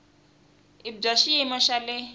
i bya xiyimo xa le